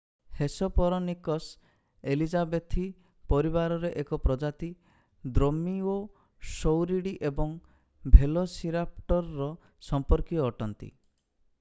Hesperonychus elizabethae ପରିବାରର ଏକ ପ୍ରଜାତି ଦ୍ରୋମିଓଷୌରୀଡି ଏବଂ ଭେଲୋସିରାପ୍ଟରର ସମ୍ପର୍କୀୟ ଅଟନ୍ତି